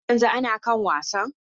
Har yanzu ana kan wasan?